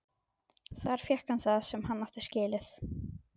Þar fékk hann það sem hann átti skilið.